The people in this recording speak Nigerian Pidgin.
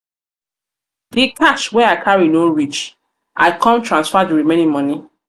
cash wey i carry no reach i come transfer di remaining moni.